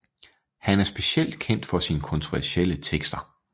Han er specielt kendt for sine kontroversielle tekster